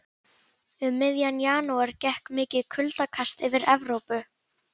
Um miðjan janúar gekk mikið kuldakast yfir Evrópu.